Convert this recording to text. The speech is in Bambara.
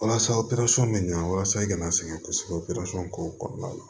Walasa o bɛ ɲa walasa i kana sɛgɛn kosɛbɛ k'o kɔnɔna la